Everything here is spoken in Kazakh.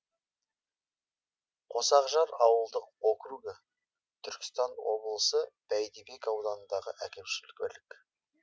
қосақжар ауылдық округі түркістан облысы бәйдібек ауданындағы әкімшілік бірлік